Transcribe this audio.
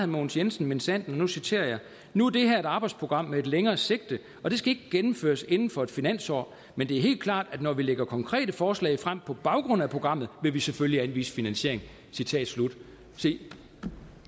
mogens jensen minsandten og nu citerer jeg nu er det her et arbejdsprogram med et længere sigte og det skal ikke gennemføres inden for et finansår men det er helt klart at når vi lægger konkrete forslag frem på baggrund af programmet vil vi selvfølgelig anvise finansiering citat slut se